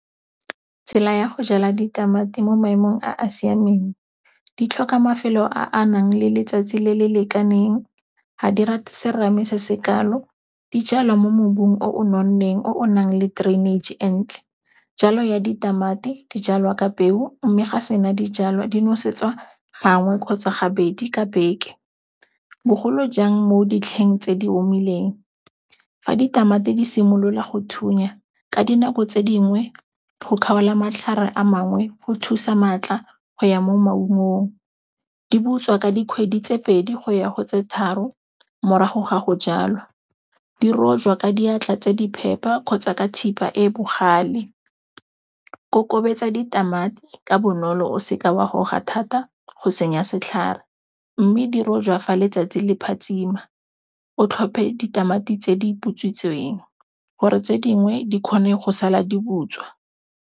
Tsela ya go jala ditamati mo maemong a a siameng di tlhoka mafelo a a nang le letsatsi le le lekaneng, ga di rate serame se sekalo, di jalwa mo mmung o nonneng o nang le drainage-e e ntle. Jalo ya ditamati di jalwa ka peu mme ga sena dijalwa di nosetsa gangwe kgotsa ga bedi ka beke, bogolo jang mo ditlheng tse di omileng. Fa ditamati di simolola go thunya ka dinako tse dingwe go kgaola matlhare a mangwe go thusa maatla go ya mo maungong. Di butswa ka dikgwedi tse pedi go ya go tse tharo morago ga go jalwa. Di rojwa ka diatla tse di phepa kgotsa ka thipa e bogale. Kokobetsa ditamati ka bonolo o seka wa goga thata go senya setlhare, mme di rojwa fa letsatsi le phatsima. O tlhophe ditamati tse di butswitseng gore tse dingwe di kgone go sala di butswa.